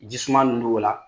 Ji suman ninnu b'o la.